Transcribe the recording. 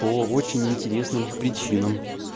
по очень интересным причинам